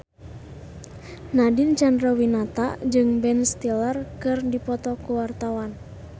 Nadine Chandrawinata jeung Ben Stiller keur dipoto ku wartawan